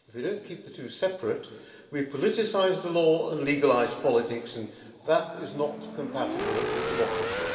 If you do not keep the two separate, we politicise the law and legalise politics and that is not compatible with democracy.